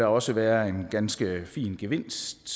også være en ganske fin gevinst